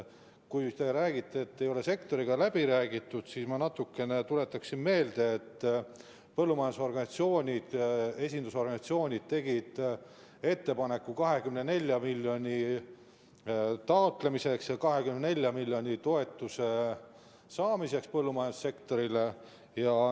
Kui te räägite, et ei ole sektoriga läbi räägitud, siis ma tuletan meelde, et põllumajandusorganisatsioonide esindusorganisatsioonid tegid ettepaneku 24 miljoni taotlemiseks ja toetuse saamiseks põllumajandussektorile.